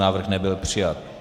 Návrh nebyl přijat.